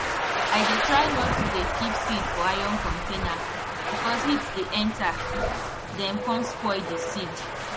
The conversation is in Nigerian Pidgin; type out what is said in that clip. i dey try nor to do keep seed for iron container because heat dey enter dem com spoil di seed